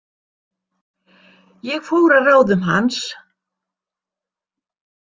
Ég fór að ráðum hans.